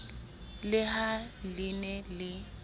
le ha le ne le